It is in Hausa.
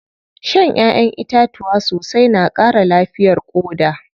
Shan ƴaʼƴen itatuwa sosai na ƙara lafiyar ƙoda.